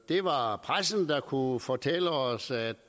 det var pressen der kunne fortælle os at